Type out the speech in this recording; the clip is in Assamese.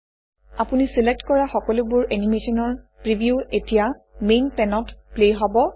আপুনি চিলেক্ট কৰা সকলোবোৰ এনিমেচনৰ প্ৰিভিউ এতিয়া মেইন পেনত প্লে হব